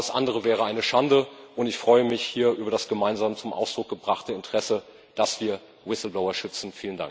Alles andere wäre eine Schande, und ich freue mich hier über das gemeinsam zum Ausdruck gebrachte Interesse, dass wir Whistleblower schützen!